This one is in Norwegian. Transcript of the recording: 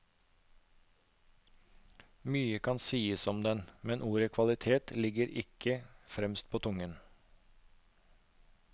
Mye kan sies om den, men ordet kvalitet ligger ikke fremst på tungen.